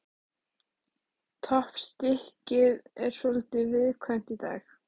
Toppstykkið er svolítið viðkvæmt í dag.